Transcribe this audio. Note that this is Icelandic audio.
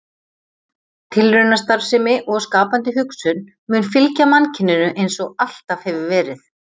Tilraunastarfsemi og skapandi hugsun mun fylgja mannkyninu eins og alltaf hefur verið.